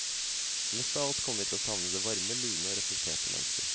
Mest av alt kommer vi til å savne det varme, lune og reflekterte mennesket.